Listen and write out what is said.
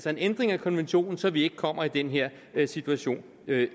en ændring af konventionen så vi ikke kommer i den her situation